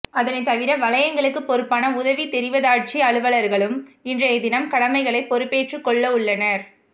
அதனை தவிர வலயங்களுக்கு பொறுப்பான உதவி தெரிவத்தாட்சி அலுவலர்களும் இன்றைய தினம் கடமைகளை பொறுப்பேற்றுக்கொள்ளவுள்ளனர்